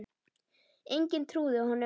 Enginn trúði honum.